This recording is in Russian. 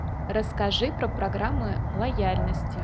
расскажи про программы лояльности